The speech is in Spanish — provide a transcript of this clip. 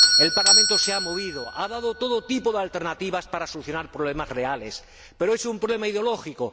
El Parlamento se ha movido, ha dado todo tipo de alternativas para solucionar problemas reales, pero es un problema ideológico.